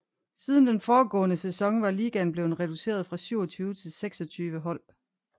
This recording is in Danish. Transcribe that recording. Siden den foregående sæson var ligaen blevet reduceret fra 27 til 26 hold